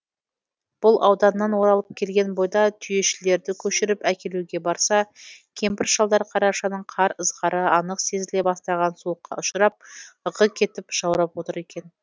бұл ауданнан оралып келген бойда түйешілерді көшіріп әкелуге барса кемпір шалдар қарашаның қар ызғары анық сезіле бастаған суыққа ұшырап ығы кетіп жаурап отыр екен